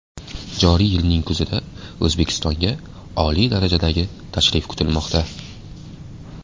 Joriy yilning kuzida O‘zbekistonga oliy darajadagi tashrif kutilmoqda.